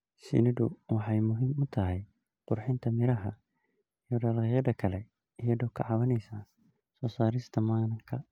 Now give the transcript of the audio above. Shinnidu waxay muhiim u tahay qurxinta miraha iyo dalagyada kale iyadoo ka caawinaysa soo saarista manka.